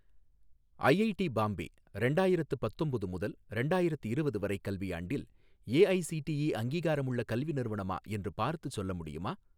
IIT Bombay ரெண்டாயிரத்தி பத்தொம்போது முதல் ரெண்டாயிரத்திரவது வரை கல்வியாண்டில் ஏஐஸிடிஇ அங்கீகாரமுள்ள கல்வி நிறுவனமா என்று பார்த்துச் சொல்ல முடியுமா?